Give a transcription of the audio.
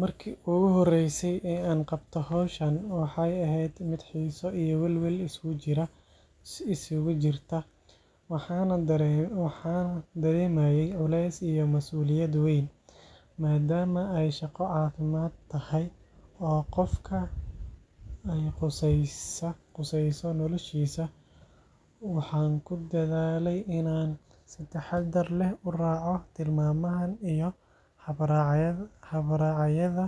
Markii ugu horreysay ee aan qabto hawshan waxay ahayd mid xiiso iyo welwel isugu jirta. Waxaan dareemayay culeys iyo masuuliyad weyn, maadaama ay shaqo caafimaad tahay oo qofka ay khusayso noloshiisa. Waxaan ku dadaalay in aan si taxaddar leh u raaco tilmaamaha iyo habraacyada